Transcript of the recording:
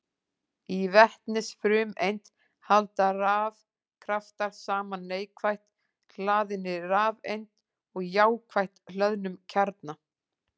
Í vetnisfrumeind halda rafkraftar saman neikvætt hlaðinni rafeind og jákvætt hlöðnum kjarna.